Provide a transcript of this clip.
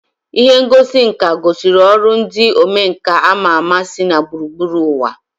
Ihe ngosi nka gosiri ọrụ ndị omenkà ama ama si gburugburu ụwa